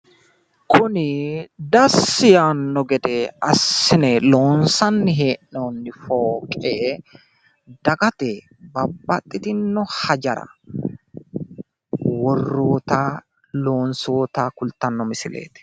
kuni dassi yaanno gede assine loonsanni hee'noonitanna fooqe dagate babaxxitino hajara lonsoonnita worroota kultanno misileeti.